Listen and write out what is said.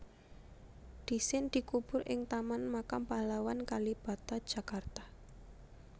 Dhisin dikubur ing Taman Makam Pahlawan Kalibata Jakarta